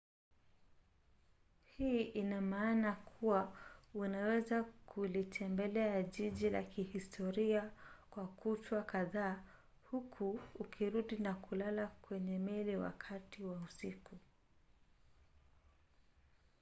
hii ina maana kuwa unaweza kulitembelea jiji la kihistoria kwa kutwa kadhaa huku ukirudi na kulala kwenye meli wakati wa usiku